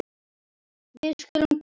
Við skulum koma